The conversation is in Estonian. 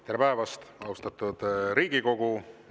Tere päevast, austatud Riigikogu!